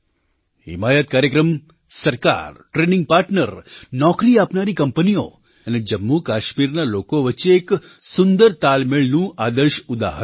હિમાયત કાર્યક્રમ સરકાર ટ્રેનિંગ પાર્ટનર નોકરી આપનારી કંપનીઓ અને જમ્મુકાશ્મીરના લોકો વચ્ચે એક સુંદર તાલમેળનું આદર્શ ઉદાહરણ છે